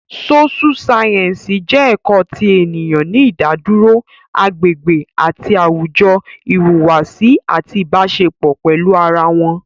Sóṣú sáyẹ́ǹsì jẹ́ ẹ̀kọ́ ti ènìyàn ní ìdádúró, agbègbè àti àwùjọ, ìhùwàsí àti Ìbáṣepọ̀ pẹ̀lú ara wọn